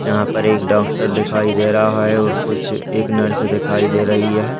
यहां पर एक डॉक्टर दिखाई दे रहा है और कुछ एक नर्स दिखाई दे रही है।